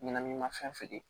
Ɲɛnaminimafɛn feere